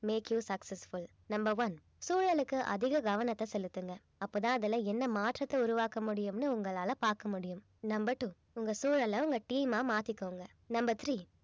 make you successfull number one சூழலுக்கு அதிக கவனத்தை செலுத்துங்க அப்பதான் அதுல என்ன மாற்றத்தை உருவாக்க முடியும்னு உங்களால பார்க்க முடியும் number two உங்க சூழல உங்க team ஆ மாத்திக்கோங்க number three